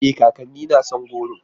E! kakanni na son goro.